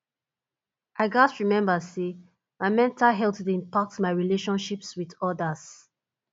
i gats remember say my mental health dey impact my relationships with others